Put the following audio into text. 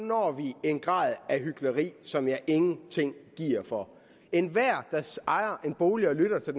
når vi en grad af hykleri som jeg ingenting giver for enhver der ejer en bolig og lytter til